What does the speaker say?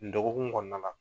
N dɔgɔkun kɔnɔna la.